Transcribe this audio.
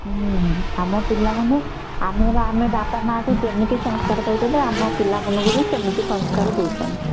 ହୁଁ ଆମ ପିଲା ମାନେ ଆମର ଆମେ ବାପା ମା ଙ୍କୁ ଯେମିତି ସଂସ୍କାର କହିଥିବେ ଆମ ପିଲା ମାନଙ୍କୁ ବି ସେମିତି ସଂସ୍କାର ଦଉଛନ୍ତି